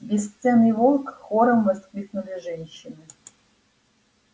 бесценный волк хором воскликнули женщины